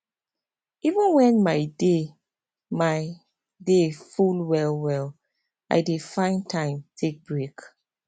even when my day my day full well well i dey find time take break